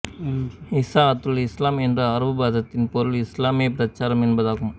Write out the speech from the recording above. இசாஅத்துல் இஸ்லாம் என்ற அரபுப் பதத்தின் பொருள் இஸ்லாமிய பிரசாரம் என்பதாகும்